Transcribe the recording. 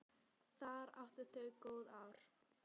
Þar áttu þau góð ár.